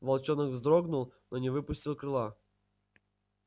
волчонок вздрогнул но не выпустил крыла